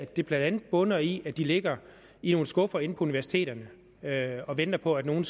det blandt andet bunder i at de ligger i nogle skuffer inde på universiteterne og venter på at nogen